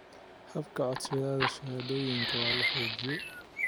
Habka codsashada shahaadooyinka waa la xoojiyay.